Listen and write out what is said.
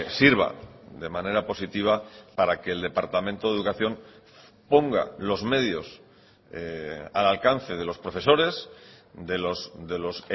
sirva de manera positiva para que el departamento de educación ponga los medios al alcance de los profesores de los